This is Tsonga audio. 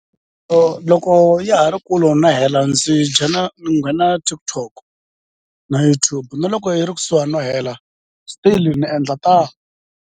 loko ya ha ri kulo na hela ndzi ni nghena TikTok na YouTube na loko yi ri kusuhani no hela still ni endla ta.